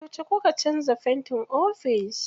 Yauce kuka canza fentin ofis?